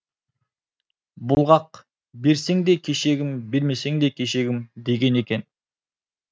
бұлғақ берсең де кешегім бермесең де кешегім деген екен